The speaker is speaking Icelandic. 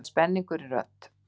Það er spenningur í rödd